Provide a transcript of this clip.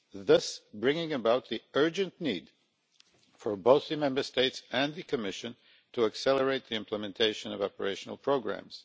thus bringing about the urgent need for both the Member States and the Commission to accelerate the implementation of operational programmes.